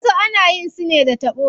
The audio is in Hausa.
Wasu ana yin su ne da taɓo.